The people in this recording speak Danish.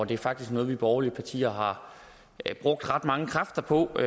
det er faktisk noget vi borgerlige partier har brugt ret mange kræfter på